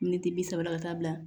Miniti bi saba ka taa bila